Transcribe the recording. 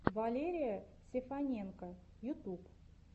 валерия сефаненко ютуб